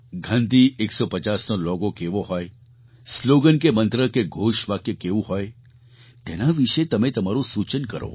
ગાંધી 150નો લૉગો કેવો હોય સ્લૉગન કે મંત્ર કે ઘોષ વાક્ય કેવું હોય તેના વિશે તમે તમારું સૂચન કરો